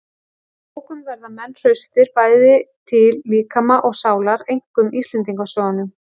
Af bókum verða menn hraustir, bæði til líkama og sálar. einkum íslendingasögunum.